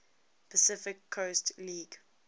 pacific coast league